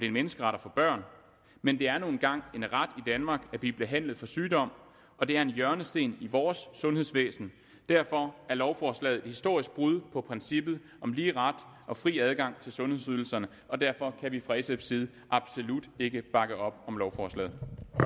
en menneskeret at få børn men det er nu engang en ret danmark at blive behandlet for sygdom og det er en hjørnesten i vores sundhedsvæsen derfor er lovforslaget et historisk brud på princippet om lige ret og fri adgang til sundhedsydelserne og derfor kan vi fra sfs side absolut ikke bakke op om lovforslaget